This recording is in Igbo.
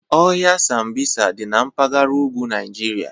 Ọhịa Sambisa dị na mpaghara ugwu Naịjirịa.